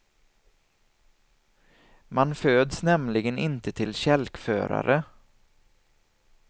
Man föds nämligen inte till kälkförare.